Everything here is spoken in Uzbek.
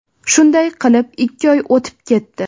Shunday qilib ikki oy o‘tib ketdi.